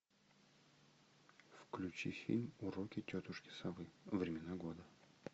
включи фильм уроки тетушки совы времена года